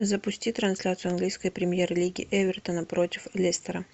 запусти трансляцию английской премьер лиги эвертона против лестера